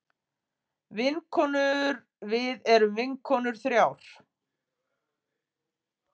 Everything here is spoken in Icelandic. Vinkonurvið erum vinkonur þrjár.